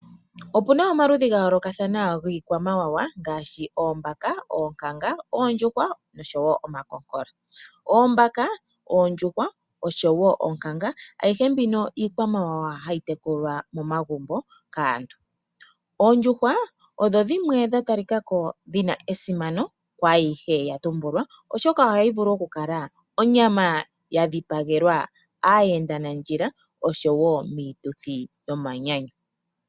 Opu na omaludhi ga yoolokathana giikwamawawa ngaashi oombaka, oonkanga, oondjuhwa noshowo omakokola. Oombaka, oondjuhwa oshowo oonkanga ayihe mbino iikwamawawa hayi tekulwa momagumbo kaantu. Oondjuhwa odho dhimwe dha talika ko dhi na esimano kwaayihe ya tumbulwa, oshoka ohayi vulu okulala onyama ya dhipagelwa aayendanandjila oshowo miituthi yomanyanyu.